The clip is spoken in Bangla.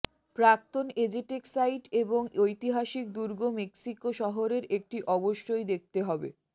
প্রাক্তন এজেটেক সাইট এবং ঐতিহাসিক দুর্গ মক্সিকো শহরের একটি অবশ্যই দেখতে হবে